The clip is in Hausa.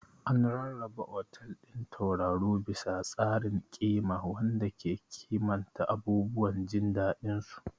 An rarraba otal ɗin tauraro bisa tsarin ƙima wanda ke kimanta abubuwan jin daɗinsu.